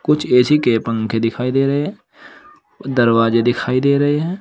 कुछ ए_सी के पंखे दिखाई दे रहे हैं दरवाजे दिखाई दे रहे हैं।